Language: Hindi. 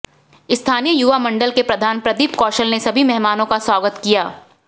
स्थानीय युवा मंडल के प्रधान प्रदीप कौशल ने सभी मेहमानों का स्वागत किया